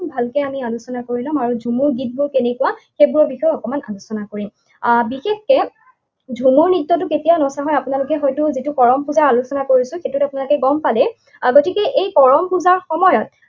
ভালকে আমি আলোচনা কৰি লম আৰু ঝুমুৰ গীতবোৰ কেনেকুৱা, সেইবোৰৰ বিষয়ে অকণমান আলোচনা কৰিম। আহ বিশেষকে ঝুমুৰ নৃত্যটো কেতিয়া নচা হয়। আপোনালোকে হয়তো যিটো কৰম পূজা আলোচনা কৰিছো, সেইটোত আপোনালোকে গম পালে। গতিকে এই কৰম পূজাৰ সময়ত